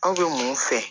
Anw bɛ mun fɛ